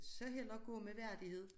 Så hellere gå med værdighed